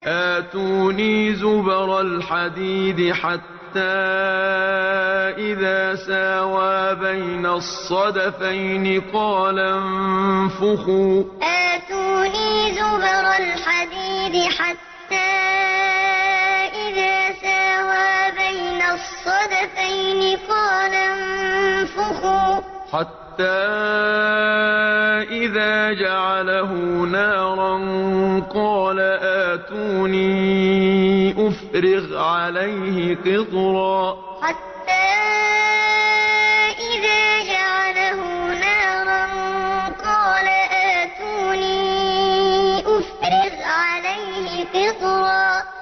آتُونِي زُبَرَ الْحَدِيدِ ۖ حَتَّىٰ إِذَا سَاوَىٰ بَيْنَ الصَّدَفَيْنِ قَالَ انفُخُوا ۖ حَتَّىٰ إِذَا جَعَلَهُ نَارًا قَالَ آتُونِي أُفْرِغْ عَلَيْهِ قِطْرًا آتُونِي زُبَرَ الْحَدِيدِ ۖ حَتَّىٰ إِذَا سَاوَىٰ بَيْنَ الصَّدَفَيْنِ قَالَ انفُخُوا ۖ حَتَّىٰ إِذَا جَعَلَهُ نَارًا قَالَ آتُونِي أُفْرِغْ عَلَيْهِ قِطْرًا